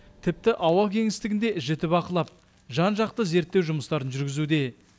тіпті ауа кеңістігінде жіті бақылап жан жақты зерттеу жұмыстарын жүргізуде